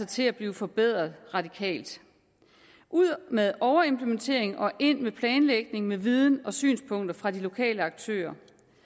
til at blive forbedret radikalt ud med overimplementering og ind med planlægning med viden og synspunkter fra de lokale aktørers